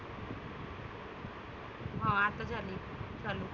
हं आता झाली चालु.